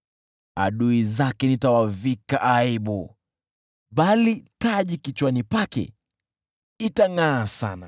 Adui zake nitawavika aibu, bali taji kichwani pake itangʼaa sana.”